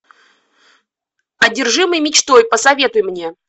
одержимый мечтой посоветуй мне